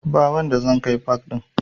Ba wanda zan kai pak ɗin